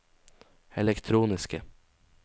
elektroniske